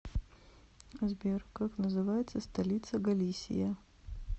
сбер как называется столица галисия